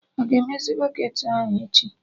Aga emezi bọketị ahụ echi?